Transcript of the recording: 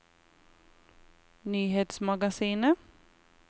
nyhetsmagasinet